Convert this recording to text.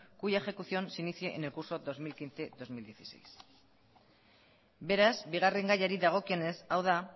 cuya ejecución se inicie en el curso dos mil quince dos mil dieciséis beraz bigarren gaiari dagokionez hau da